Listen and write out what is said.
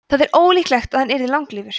það er ólíklegt að hann yrði langlífur